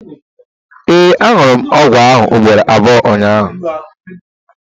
ee, añụrụ m ọgwụ ahụ ugboro abụọ ụnyahụ